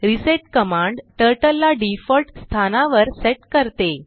reset command turtle ला default स्थानावर set करते